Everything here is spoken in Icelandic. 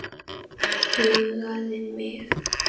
Huggaði mig.